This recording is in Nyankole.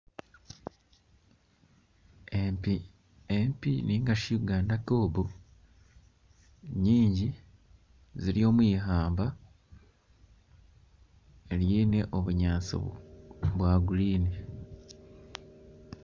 Empi ningashi Uganda kobu nyingi ziri omwihamba ryine obunyaasi bwingi